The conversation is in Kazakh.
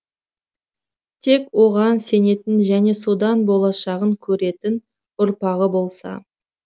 тек оған сенетін және содан болашағын көретін ұрпағы болса